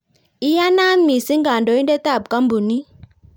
iyanaat mising kandoindetab kampunit